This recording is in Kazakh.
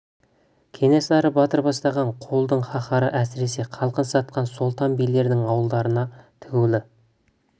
кенесары батыр бастаған қолдың қаһары әсіресе халқын сатқан сұлтан билердің ауылдарына тігілулі